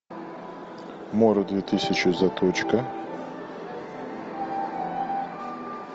мора две тысячи заточка